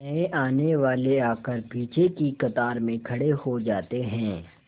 नए आने वाले आकर पीछे की कतार में खड़े हो जाते हैं